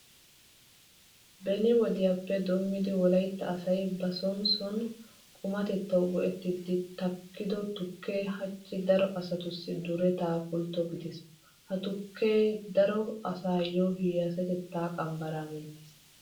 Beni wodiyappe doommidi wolaytta asay ba son son qumatettawu go"ettiiddi takkido tukkee hachchi daro asatussi duretaa pultto gidiis. Ha tukkee daro asaappe hiyyeesatettaa qambbaraa menttiis.